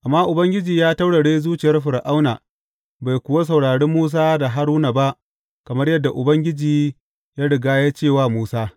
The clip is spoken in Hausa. Amma Ubangiji ya taurare zuciyar Fir’auna, bai kuwa saurare Musa da Haruna ba kamar yadda Ubangiji ya riga ya ce wa Musa.